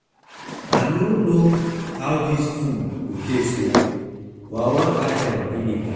I no know how dis food go taste oo but I wan add am vinegar.